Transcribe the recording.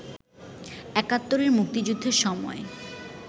একাত্তরে মুক্তিযুদ্ধের সময়